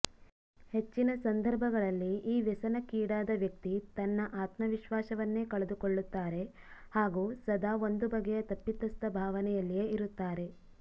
ಹೆಚ್ಚಿನ ಸಂದರ್ಭಗಳಲ್ಲಿ ಈ ವ್ಯಸನಕ್ಕೀಡಾದ ವ್ಯಕ್ತಿ ತನ್ನ ಆತ್ಮವಿಶ್ವಾಸವನ್ನೇ ಕಳೆದುಕೊಳ್ಳುತ್ತಾರೆ ಹಾಗೂ ಸದಾ ಒಂದು ಬಗೆಯ ತಪ್ಪಿತಸ್ಥ ಭಾವನೆಯಲ್ಲಿಯೇ ಇರುತ್ತಾರೆ